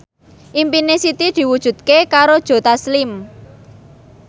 impine Siti diwujudke karo Joe Taslim